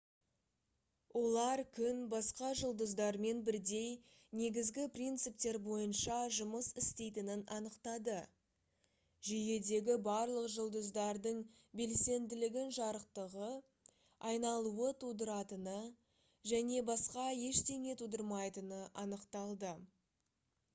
олар күн басқа жұлдыздармен бірдей негізгі принциптер бойынша жұмыс істейтінін анықтады жүйедегі барлық жұлдыздардың белсенділігін жарықтығы айналуы тудыратыны және басқа ештеңе тудырмайтыны анықталды